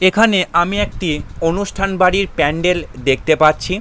এখানে আমি একটি অনুষ্ঠান বাড়ির প্যান্ডেল দেখতে পাচ্ছি ।